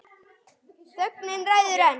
Þögnin ræður ein.